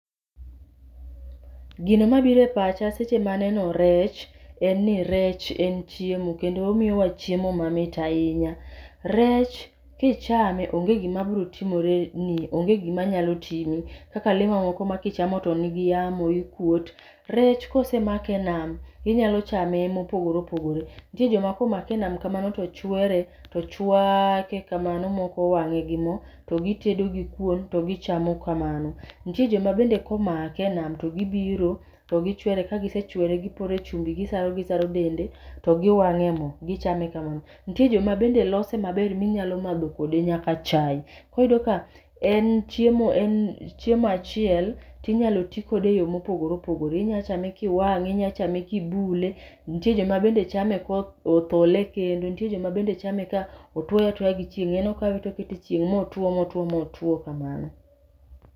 Gino mabire pacha seche maneno rech en ni rech en chiemo kendo omiyowa chiemo mamit ahinya. Rech kichame onge gima biro timore ni onge gima nyalo timi, kaka le mamoko ma kichamo to nigi yamo ii kuot. Rech kosemake nam inyalo chame mopogore opogore. Nitie joma komake e nam kamano to chwere to chwake kamano mokowang'e gi mo, to gitedo gi kuon to gichamo kamano. Nitie joma bende komake e nam, to gibiro to gichwere, kagisechwere gipore chumbi, gisaro gisaro dende to giwang'e mo, gichame kamano. Nitie joma bende lose maber minyalo madho kode nyaka chai. Koriyudo ka en chiemo en chiemo achiel tinyalo ti kode e yore mopogore opogore. Inyachame kiwang'e, inyachame kibule, to nitie jomabende chame ko othole e kendo. Nitie joma bende chame ka otwoe atwoya gi chieng', en okawe tokete e chieng' motwo motwo kamano.